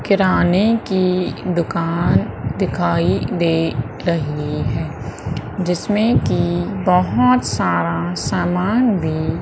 किराने की दुकान दिखाई दे रही है जिसमें की बहोत सारा सामान भी--